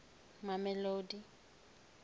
mamelodi